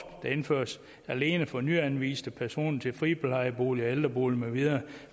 der indføres alene for nyanviste personer til friplejeboliger ældreboliger med videre